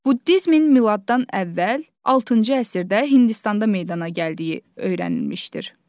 Buddizmin miladdan əvvəl altıncı əsrdə Hindistanda meydana gəldiyi öyrənilmişdir.